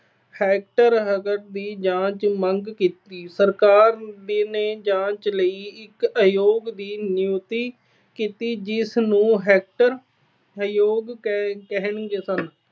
ਦੀ ਜਾਂਚ ਮੰਗ ਕੀਤੀ। ਸਰਕਾਰ ਨੇ ਜਾਂਚ ਲਈ ਇਕ ਆਯੋਗ ਦੀ ਨਿਯੁਕਤੀ ਕੀਤੀ। ਜਿਸ ਨੂੰ Hunter ਆਯੋਗ ਕਹਿੰਦੇ ਸਨ।